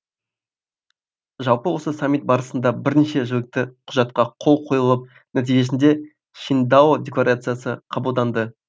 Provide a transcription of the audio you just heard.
жалпы осы саммит барысында бірнеше жілікті құжатқа қол қойылып нәтижесінде шиңдао декларациясы қабылданды